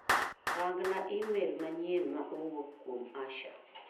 Rang'na imel manyien ma owuok kuom Asha.